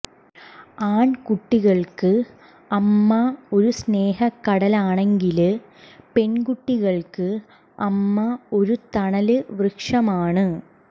ആണ്ക്കുട്ടികള്ക്ക് അമ്മ ഒരു സ്നേഹക്കടലാണെങ്കില് പെണ്കുട്ടികള്ക്ക് അമ്മ ഒരു തണല് വൃക്ഷമാണ്